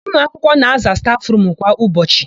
Ụmụakwụkwọ na-aza stafụrumu kwa ụbọchị.